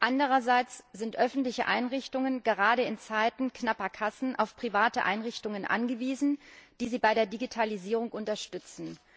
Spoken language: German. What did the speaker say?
Andererseits sind öffentliche Einrichtungen gerade in Zeiten knapper Kassen auf private Einrichtungen angewiesen, die sie bei der Digitalisierung unterstützen.